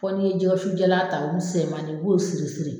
Caman bɛ jɛgɛsujalan ta, .